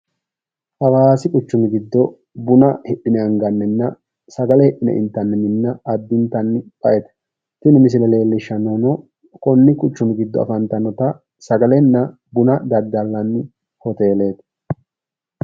hawaasi quchumi giddo buna hidhine angannina sagale hidhine intanni minna addintanni ba'ete, tini misile leellishshannohuno konni quchumi giddo affantannota sagalenna buna daddalanni hoteeleeti.